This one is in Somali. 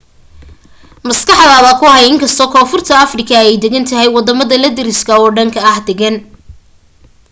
maskaxda ku hay in inkastoo koonfurta afrika ay degan tahay wadamada la deriska oo dhan ma degana